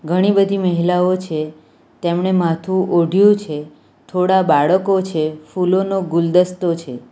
ઘણી બધી મહિલાઓ છે તેમણે માથું ઓઢ્યુ છે થોડા બાળકો છે ફૂલોનો ગુલદસ્તો છે.